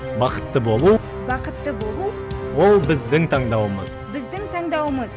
бақытты болу бақытты болу ол біздің таңдауымыз біздің таңдауымыз